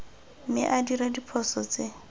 mme a dira diphoso tse